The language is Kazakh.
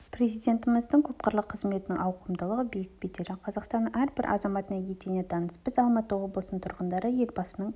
президентіміздің көпқырлы қызметінің ауқымдылығы биік беделі қазақстанның әрбір азаматына етене таныс біз алматы облысының тұрғындары елбасының